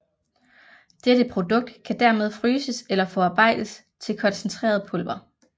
Dette produkt kan dermed fryses eller forarbejdes til koncentreret pulver